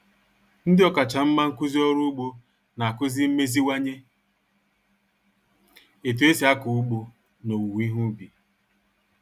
Ndị ọkachamara nkuzi orụ ugbo na-akuzi mmeziwanye etu esi ako ugbo na owuwe ihe ubi